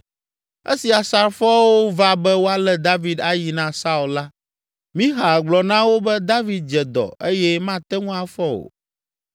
Esi asrafoawo va be woalé David ayi na Saul la, Mixal gblɔ na wo be David dze dɔ eye mate ŋu afɔ o.